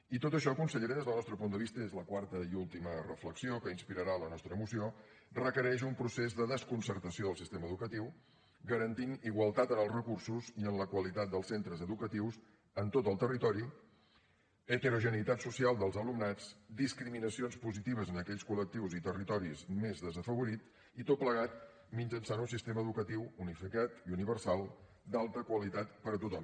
i tot això consellera des del nostre punt de vista i és la quarta i última reflexió que inspirarà la nostra moció requereix un procés de desconcertació del sistema educatiu per garantir igualtat en els recursos i en la qualitat dels centres educatius en tot el territori heterogeneïtat social dels alumnats discriminacions positives en aquells col·lectius i territoris més desafavorits i tot plegat mitjançant un sistema educatiu unificat i universal d’alta qualitat per a tothom